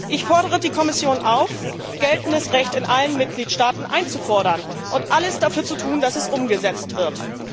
Ich fordere die Kommission auf, geltendes Recht in allen Mitgliedstaaten einzufordern und alles dafür zu tun, dass es umgesetzt wird!